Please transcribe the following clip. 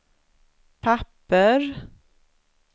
papper